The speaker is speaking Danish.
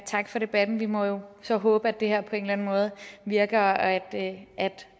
tak for debatten vi må jo så håbe at det her på en eller anden måde virker og at at